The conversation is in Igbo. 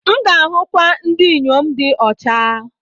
M ga-ahụkwu ndị inyom di ọcha.